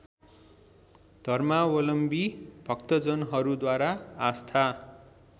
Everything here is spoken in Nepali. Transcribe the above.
धर्मावलम्वी भक्तजनहरूद्वारा आस्था